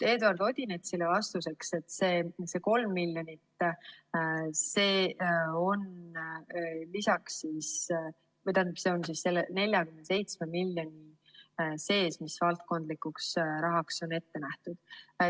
Eduard Odinetsile vastuseks, et see 3 miljonit on selle 47 miljoni sees, mis valdkondlikuks rahaks on ette nähtud.